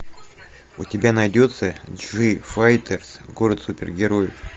у тебя найдется джифайтерс город супергероев